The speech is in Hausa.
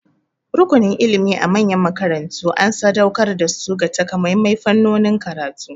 Rukunin ilimi a manyan makarantu an sadauƙar da su ga takamaiman fannonin karatu.